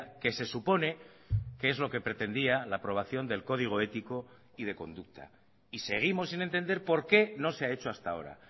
que se supone que es lo que pretendía la aprobación del código ético y de conducta y seguimos sin entender por qué no se ha hecho hasta ahora